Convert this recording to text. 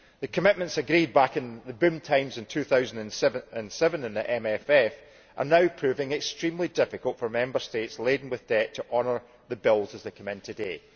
The commitments agreed back in the boom times in 2007 and the MFF are now making it extremely difficult for Member States laden with debts to honour the bills as they come in today.